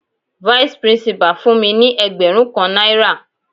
Vice principal fún mi ní ẹgbẹrun kan náírà.